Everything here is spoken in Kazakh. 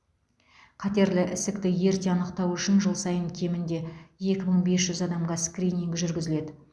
қатерлі ісікті ерте анықтау үшін жыл сайын кемінде екі мың бес жүз адамға скрининг жүргізіледі